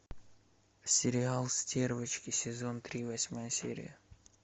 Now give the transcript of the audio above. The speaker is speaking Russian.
сериал стервочки сезон три восьмая серия